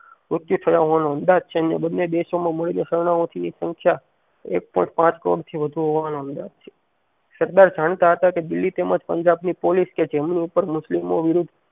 ઉંચી નો અંદાજ છે બંને દેશોમાં મળીને શરણાઓથી સંખ્યા એક પોઇન્ટ પાંચ કરોડ હોવાનો અંદાજ છે સરદાર જાણતા હતા કે દિલ્લી તેમજ પંજાબ ની પોલીસ કે જેમની ઉપર મુસ્લિમપો વિરુદ્ધ